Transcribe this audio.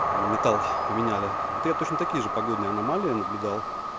они металл поменяли вот я точно такие же погодные аномалии наблюдал